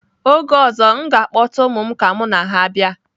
Oge ọzọ, m ga-akpọta ụmụ m ka mụ na ha bịa.